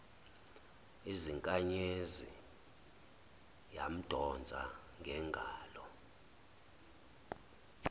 izinkanyezi yamdonsa ngengalo